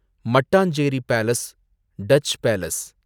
Mattancherry palace ,Dutch palace